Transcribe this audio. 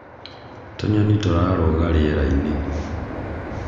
tũnyoni tũrarũga riera-inĩ